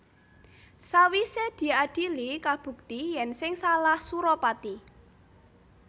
Sawisé diadhili kabukti yèn sing salah Suropati